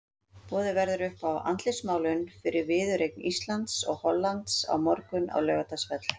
Boðið verður upp á andlitsmálun fyrir viðureign Íslands og Hollands á morgun á Laugardalsvelli.